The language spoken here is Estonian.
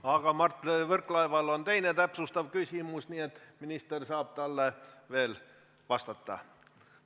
Aga Mart Võrklaeval on teine, täpsustav küsimus, nii et minister saab talle veel vastata.